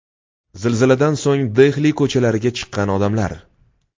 Zilziladan so‘ng Dehli ko‘chalariga chiqqan odamlar.